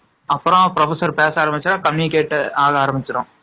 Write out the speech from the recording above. அப்பறம் professor பேசக்கேட்டு ஆரம்பிச்சுரும்